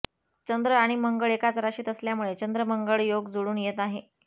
चंद्र आणि मंगळ एकाच राशीत असल्यामुळे चंद्रमंगळ योग जुळून येत आहे